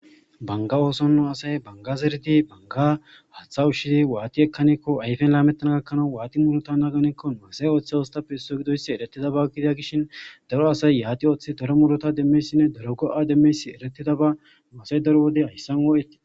Banga oosonno asay bangazerdi banga haththa ushshizi waati ekkaneekko ayfen laamettana gakkana waati murota naganeekko maasay ooththe oostappe esso gidoyssi eretida ba gidia gishin daro asay yaati ooththe daro murota demmeysinne daro go7a demmeysi eretida ba no asay daro wodey hayssan oo7eti.